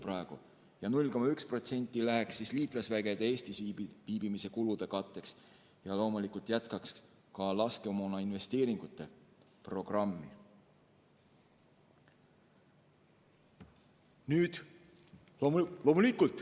Ülejäänud 0,1% läheks liitlasvägede Eestis viibimise kulude katteks ja loomulikult tuleks jätkata ka laskemoonainvesteeringute programmi.